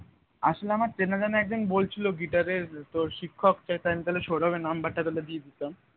আসলে আমার চেনাজানা একজন বলছিল guitar এর তোর শিক্ষক সৌরভ number টা তাহলে দিয়ে দিতাম